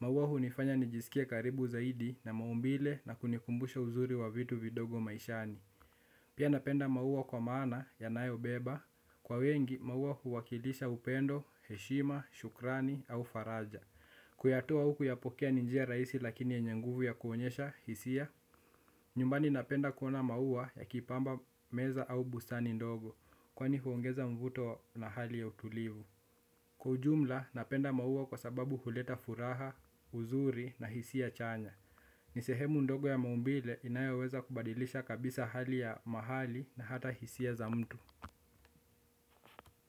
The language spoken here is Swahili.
Mauwa hunifanya nijisikie karibu zaidi na maumbile na kunikumbusha uzuri wa vitu vidogo maishani. Pia napenda maua kwa maana yanayobeba. Kwa wengi, mauwa huwakilisha upendo, heshima, shukrani au faraja. Kuyatua huku ya pokea ni njia raisi lakini yenye nguvu ya kuonyesha hisia, nyumbani napenda kuona maua yakipamba meza au bustani ndogo kwani huongeza mvuto na hali ya utulivu. Kwa ujumla napenda maua kwa sababu huleta furaha, uzuri na hisia chanya. Ni sehemu ndogo ya maumbile inayaweza kubadilisha kabisa hali ya mahali na hata hisia za mtu.